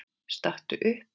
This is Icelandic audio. Stattu upp!